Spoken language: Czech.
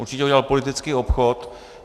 Určitě udělal politický obchod.